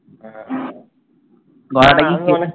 হ্যাঁ